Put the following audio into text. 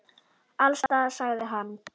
Alls staðar, sagði hann.